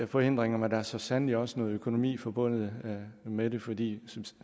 forhindringer men der er så sandelig også noget økonomi forbundet med det fordi